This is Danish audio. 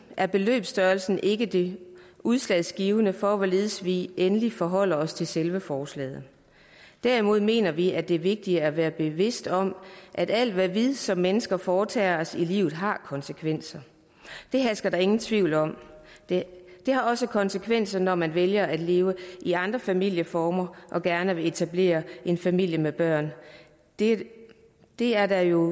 er beløbsstørrelsen ikke det udslagsgivende for hvorledes vi endelig forholder os til selve forslaget derimod mener vi det er vigtigt at være bevidste om at alt hvad vi som mennesker foretager os i livet har konsekvenser det hersker der ingen tvivl om det har også konsekvenser når man vælger at leve i andre familieformer og gerne der vil etablere en familie med børn det det er der jo